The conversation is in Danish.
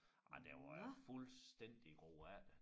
Nej der var fuldstændig groet efter